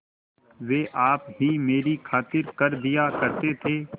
वे आप ही मेरी खातिर कर दिया करते थे